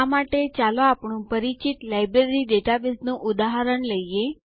આ માટે ચાલો આપણું પરિચિત લાઈબ્રેરી ડેટાબેઝનું ઉદાહરણ લઈએ